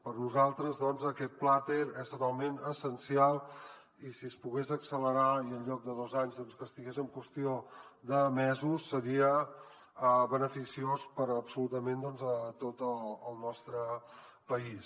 per nosaltres aquest plater és totalment essencial i si es pogués accelerar i en lloc de dos anys estigués en qüestió de mesos seria beneficiós per a absolutament tot el nostre país